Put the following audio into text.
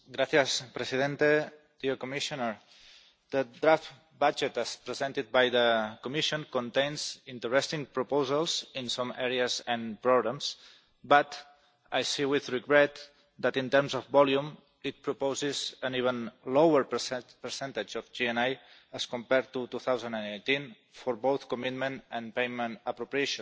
Mr President, the draft budget, as presented by the Commission, contains interesting proposals in some areas, and problems, but I see with regret that in terms of volume it proposes an even lower percentage of GNI as compared to 2010 for both commitment and payment appropriations.